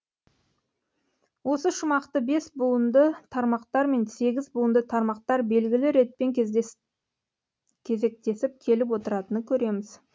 осы шумақты бес буынды тармақтар мен сегіз буынды тармақтар белгілі ретпен кезектесіп келіп отыратынын көреміз